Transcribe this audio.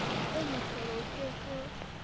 oo mohlolo o ke ke